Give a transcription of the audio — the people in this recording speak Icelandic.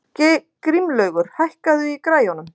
Grímlaugur, hækkaðu í græjunum.